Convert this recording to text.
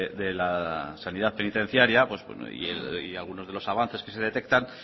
de la sanidad penitenciaria y algunos de los avances que se detectan